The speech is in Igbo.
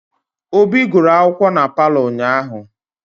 Obi guru akwụkwọ na palọ ụnyahụ.